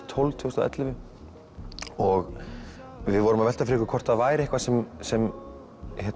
tólf tvö þúsund og ellefu og við vorum að velta því fyrir okkur hvort það væri eitthvað sem sem